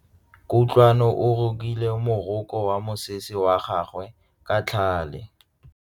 Kutlwanô o rokile morokô wa mosese wa gagwe ka tlhale.